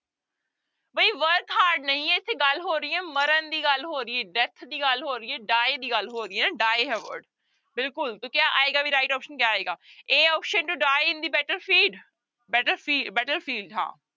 ਬਈ work hard ਨਹੀਂ ਹੈ ਇੱਥੇ ਗੱਲ ਹੋ ਰਹੀ ਹੈ ਮਰਨ ਦੀ ਗੱਲ ਹੋ ਰਹੀ ਹੈ death ਦੀ ਗੱਲ ਹੋ ਰਹੀ ਹੈ die ਦੀ ਗੱਲ ਹੋ ਰਹੀ ਹੈ die ਹੈ word ਬਿਲਕੁਲ ਤਾਂ ਕਿਆ ਆਏਗਾ ਵੀ right option ਕਿਆ ਆਏਗਾ a option to die in the battlefield ਬੈਟਲਫੀ battlefield ਹਾਂ